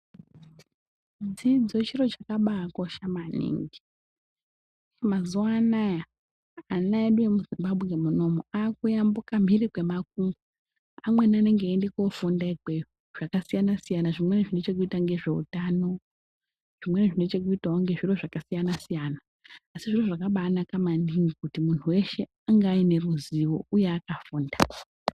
Dzidzo chiro chakabaakosha maningi. Mazuwa anaa ana edu emuZimbabwe munomu akuyambuka mhiri kwemakungwa. Amweni anenge einde koofunda ikweyo zvakasiyana siyana, zvimweni zvine chekuita ngezveutano, zvimweni zvine chekuitawo ngezviro zvakasiyana siyana asi zviro zvakabaanaka maningi kuti muntu weshe ange aine ruzivo uye akafunda.